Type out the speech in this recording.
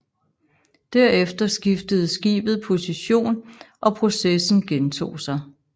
Derefter skiftede skibet position og processen gentog sig